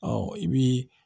Ɔ i bii